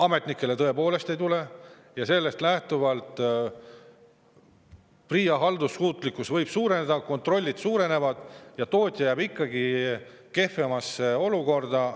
Ametnikele tõepoolest ei tule ja sellest lähtuvalt võib PRIA haldussuutlikkus suureneda, aga kontrollid ja tootja jääb ikkagi kehvemasse olukorda.